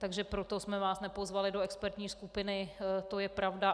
Takže proto jsme vás nepozvali do expertní skupiny, to je pravda.